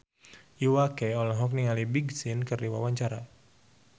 Iwa K olohok ningali Big Sean keur diwawancara